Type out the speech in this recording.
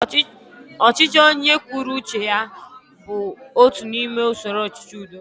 Ọchịchị onye kwuru uche ya bụ otu n'ime usoro ọchịchị udo